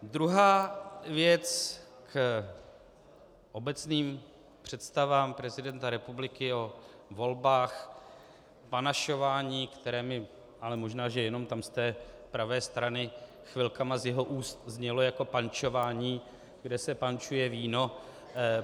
Druhá věc k obecným představám prezidenta republiky o volbách, panašování, které mi - ale možná že jenom tam z té pravé strany chvilkami z jeho úst znělo jako pančování, kde se pančuje víno.